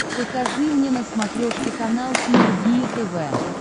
покажи мне на смотрешке канал синергия тв